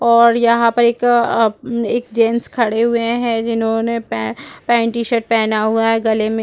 और यहां पर एक एक जेंट्स खड़े हुए हैं जिन्होंने पैंट टीशर्ट पहना हुआ है गले में --